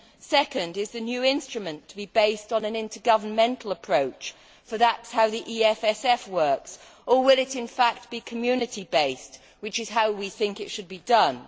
Secondly, is the new instrument to be based on an intergovernmental approach, for that is how the EFSF works, or will it in fact be Community based, which is how we think it should be done?